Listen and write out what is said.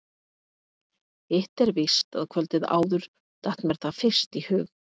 Hitt er víst að kvöldið áður datt mér það fyrst í hug.